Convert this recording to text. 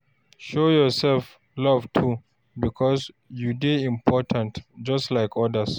Show yourself love too, because you dey important just like others